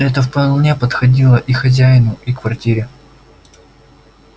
это вполне подходило и хозяину и квартире